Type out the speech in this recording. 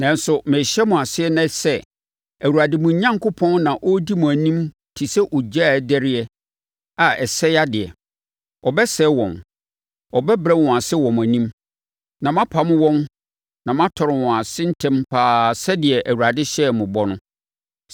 Nanso, merehyɛ mo ase ɛnnɛ sɛ, Awurade mo Onyankopɔn na ɔredi mo anim te sɛ ogya dɛreɛ a ɛresɛe adeɛ. Ɔbɛsɛe wɔn. Ɔbɛbrɛ wɔn ase wɔ mo anim. Na moapam wɔn na moatɔre wɔn ase ntɛm pa ara sɛdeɛ Awurade hyɛɛ mo bɔ no.